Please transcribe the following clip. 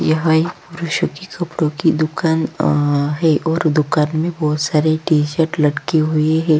यहाँ एक पुरूषों की कपड़ों की दुकान अ है और दुकान में बहुत सारे टी_शर्ट लटके हुए हैं।